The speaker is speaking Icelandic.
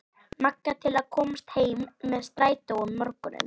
Magga til að komast heim með strætó um morguninn.